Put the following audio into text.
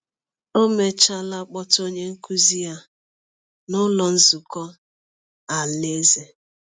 O mechaala kpọta onye nkụzi ya n’Ụlọ Nzukọ Alaeze.